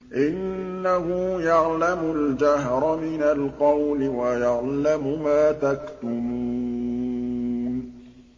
إِنَّهُ يَعْلَمُ الْجَهْرَ مِنَ الْقَوْلِ وَيَعْلَمُ مَا تَكْتُمُونَ